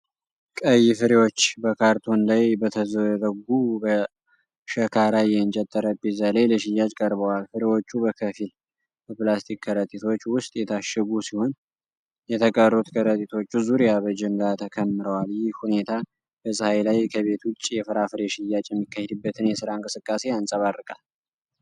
ቀይ ፍሬዎች በካርቶን ላይ በተዘረጉ፣ በሸካራ የእንጨት ጠረጴዛ ላይ ለሽያጭ ቀርበዋል። ፍሬዎቹ በከፊል በፕላስቲክ ከረጢቶች ውስጥ የታሸጉ ሲሆን፣ የተቀሩት ከረጢቶቹ ዙሪያ በጅምላ ተከምረዋል። ይህ ሁኔታ በፀሐይ ላይ ከቤት ውጭ የፍራፍሬ ሽያጭ የሚካሄድበትን የሥራ እንቅስቃሴ ያንጸባርቃል።